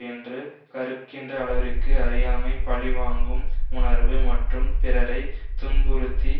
என்று கருகின்ற அளவிற்கு அறியாமை பழிவாங்கும் உணர்வு மற்றும் பிறரை துன்புறுத்தி